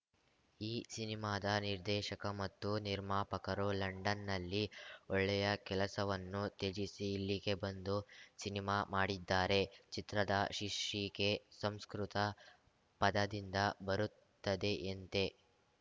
ಈ ಸಿನಿಮಾದ ನಿರ್ದೇಶಕ ಮತ್ತು ನಿರ್ಮಾಪಕರು ಲಂಡನ್‌ನಲ್ಲಿ ಒಳ್ಳೆಯ ಕೆಲಸವನ್ನು ತ್ಯಜಿಸಿ ಇಲ್ಲಿಗೆ ಬಂದು ಸಿನಿಮಾ ಮಾಡಿದ್ದಾರೆ ಚಿತ್ರದ ಶೀರ್ಷಿಕೆ ಸಂಸ್ಕೃತ ಪದದಿಂದ ಬರುತ್ತದೆಯಂತೆ